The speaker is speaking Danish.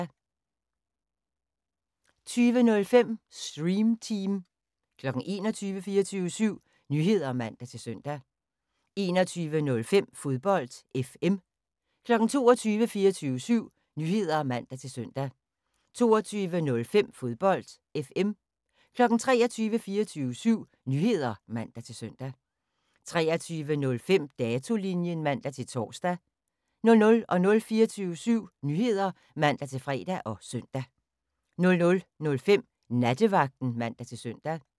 20:00: 24syv Nyheder (man-søn) 20:05: Stream Team 21:00: 24syv Nyheder (man-søn) 21:05: Fodbold FM 22:00: 24syv Nyheder (man-søn) 22:05: Fodbold FM 23:00: 24syv Nyheder (man-søn) 23:05: Datolinjen (man-tor) 00:00: 24syv Nyheder (man-fre og søn) 00:05: Nattevagten (man-søn)